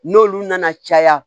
N'olu nana caya